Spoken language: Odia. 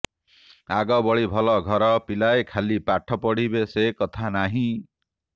ଆଗ ଭଳି ଭଲଘର ପିଲାଏ ଖାଲି ପାଠ ପଢ଼ିବେ ସେ କଥା ନାହିଁ